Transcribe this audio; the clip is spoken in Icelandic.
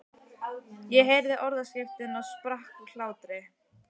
Ég heyrði orðaskiptin og sprakk úr hlátri.